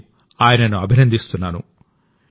నేను ఆయనను అభినందిస్తున్నాను